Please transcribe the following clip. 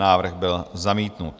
Návrh byl zamítnut.